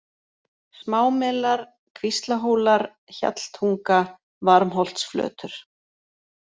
Smámelar, Kvíslahólar, Hjalltunga, Varmholtsflötur